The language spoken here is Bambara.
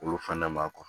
Olu fana ma